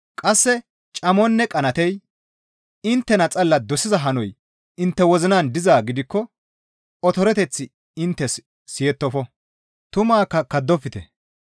Qasse camonne qanaatey, inttena xalla dosiza hanoy intte wozinan dizaa gidikko otoreteththi inttes siyettofo; tumaakka kaddofte.